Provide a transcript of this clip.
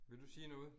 Vil du sige noget